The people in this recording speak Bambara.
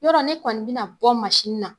Yɔrɔ ne kɔni be na bɔ na.